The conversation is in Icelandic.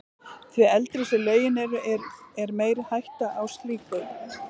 Því eldri sem lögin eru, er meiri hætta á slíku.